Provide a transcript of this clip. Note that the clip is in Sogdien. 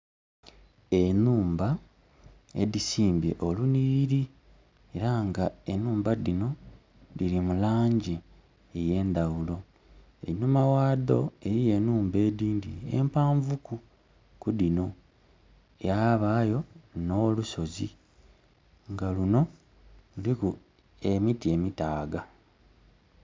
Enhumba edhisimbye olunhiliri. Era nga enhumba dhino dhili mu langi ey'endaghulo. Enhuma ghadho eliyo enhumba edhindhi empaanvu ku ku dhino. Yabaayo nh'olusozi nga luno luliku emiti emitaaga.